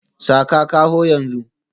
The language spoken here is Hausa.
Saka kaho yanzu